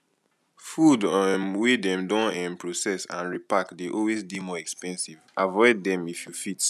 food um wey dem don um proccess and repark dey always dey more expensive avoid them if you fit